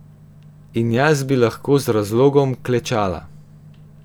In jaz bi lahko z razlogom klečala.